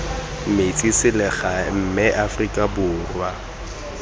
metse selegae mme afrika borwa